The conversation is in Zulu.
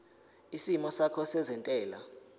isimo sakho sezentela